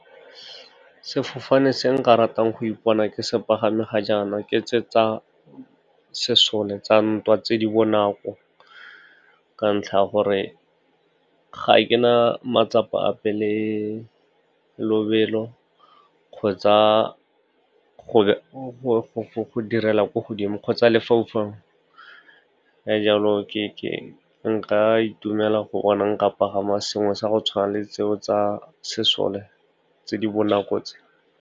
Sefofane se nka ratang go ipona ke se pagame ga jaana, ke tse tsa sesole tsa ntwa tse di bonako, ka ntlha ya gore ga ke na matsapa a pele, lobelo kgotsa go direla ko godimo kgotsa lefaufau. Ka jalo, nka itumela go bona nka pagama sengwe sa go tshwana le tse o tsa sesole, tse di bonako tse.